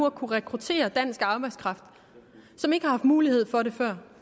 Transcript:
at kunne rekruttere dansk arbejdskraft som ikke har haft mulighed for det før